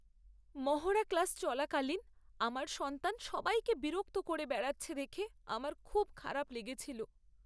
মহড়া ক্লাস চলাকালীন আমার সন্তান সবাইকে বিরক্ত করে বেড়াচ্ছে দেখে আমার খুব খারাপ লেগেছিল।